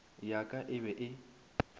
ya ka e be e